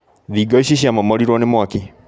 Thingo ici ciamomorirwo nĩ mwaki